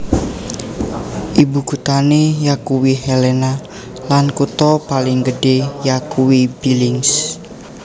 Ibukuthané yakuwi Helena lan kutha paling gedhé yakuwi Billings